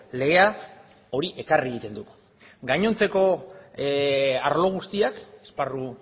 legea hori ekarri egiten du gainontzeko arlo guztiak esparru